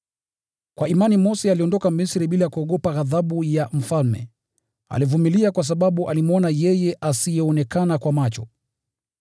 Kwa imani Mose aliondoka Misri bila kuogopa ghadhabu ya mfalme. Alivumilia kwa sababu alimwona yeye asiyeonekana kwa macho.